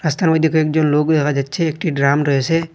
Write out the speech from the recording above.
রাস্তার মধ্যে কয়েকজন লোক দেখা যাচ্ছে একটি ড্রাম রয়েছে।